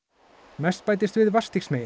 mest bætist við